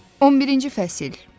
11-ci fəsil.